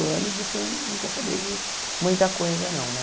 anos, você não quer saber de muita coisa, não, né?